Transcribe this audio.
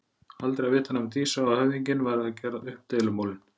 Aldrei að vita nema Dísa og höfðinginn væru að gera upp deilumálin.